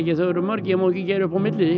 þau eru mörg ég má ekki gera upp á milli